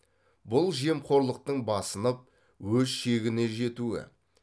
бұл жемқорлықтың басынып өз шегіне жетуі